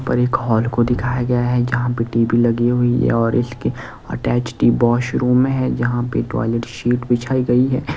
ऊपर एक हॉल को दिखाया गया है जहां पे टी_वी लगी हुई है और इसके अटैचड बॉशरूम है जहां पे टॉयलेट शीट बिछाई गई है।